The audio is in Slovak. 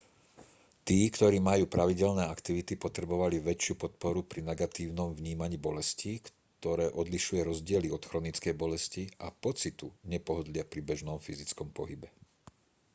tí ktorí majú pravidelné aktivity potrebovali väčšiu podporu pri negatívnom vnímaní bolesti ktoré odlišuje rozdiely od chronickej bolesti a pocitu nepohodlia pri bežnom fyzickom pohybe